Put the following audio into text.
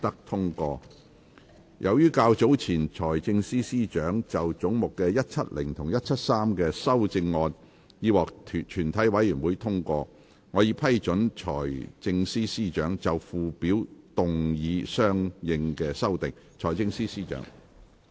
由於較早前財政司司長就總目170及173的修正案已獲全體委員會通過，我已批准財政司司長就附表動議相應修訂。